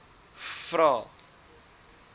vvvvrae